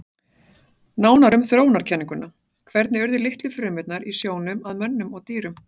Nánar um þróunarkenninguna Hvernig urðu litlu frumurnar í sjónum að mönnum og dýrum?